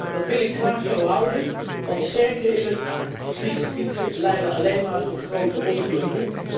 Dat wil ik graag zo houden, want sterkere elektrische fietsen leiden alleen maar tot grote ongelukken.